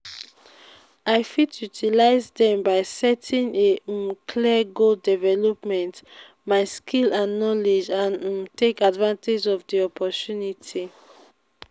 i fit utilize dem by setting a um clear goals develop my skills and knowledge and um take advantage of di opportunity.